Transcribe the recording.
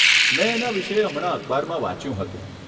મેં એના વિષે હમણાં અખબારમાં વાંચ્યું હતું.